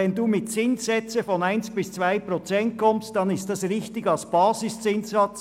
Wenn Sie mit Zinssätzen von 1 bis 2 Prozent kommen, dann ist das richtig als Basiszinssatz.